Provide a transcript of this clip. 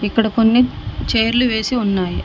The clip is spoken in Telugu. ఇక్కడ కొన్ని చైర్లు వేసి ఉన్నాయి.